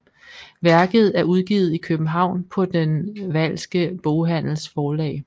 Værket er udgivet i København på den Wahlske Boghandels Forlag